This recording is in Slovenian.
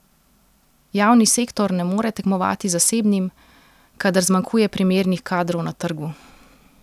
Javni sektor ne more tekmovati z zasebnim, kadar zmanjkuje primernih kadrov na trgu.